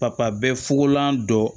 Papa bɛɛ fukolan dɔ